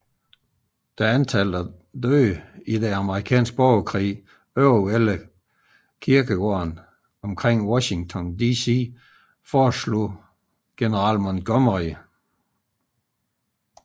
Da antallet af dræbte i den Amerikanske Borgerkrig overvældede kirkegårdene omkring Washington DC foreslog general Montgomery C